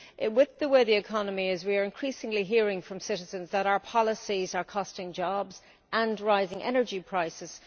With the way the economy is, we are increasingly hearing from citizens that our policies are costing jobs and raising energy prices.